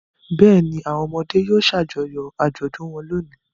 Bẹ́ẹ̀ ni, àwọn ọmọdé yóò ṣàjọyọ̀ àjọ̀dún wọn lónìí.